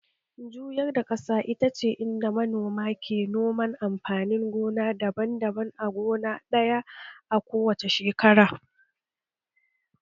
Juyar da ƙasa ita ce inda manomi ke noman amfanin gona daban-daban a gona ɗaya a kowace shekara